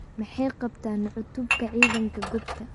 Maxay qabtaan cutubka ciidanka goobta?